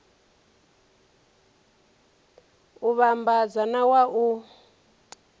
u vhambadza na wa u